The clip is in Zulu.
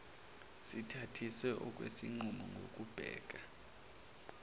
sithathiswe okwesinqumo ngokubheka